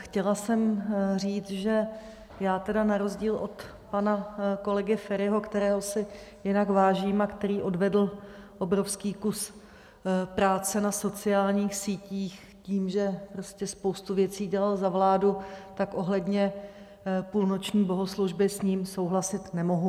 Chtěla jsem říct, že já tedy na rozdíl od pana kolegy Feriho, kterého si jinak vážím a který odvedl obrovský kus práce na sociálních sítích tím, že prostě spoustu věcí dělal za vládu, tak ohledně půlnoční bohoslužby s ním souhlasit nemohu.